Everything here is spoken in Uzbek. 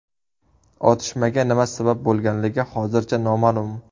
Otishmaga nima sabab bo‘lganligi hozircha noma’lum.